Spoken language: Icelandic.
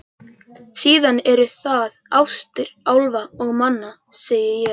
Síðan eru það ástir álfa og manna, segi ég.